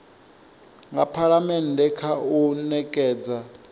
nga phalamennde kha u nekedza